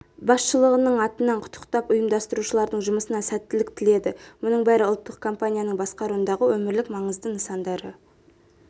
басшылығының атынан құттықтап ұйымдастырушылардың жұмысына сәттілік тіледі мұның бәрі ұлттық компанияның басқаруындағы өмірлік маңызды нысандары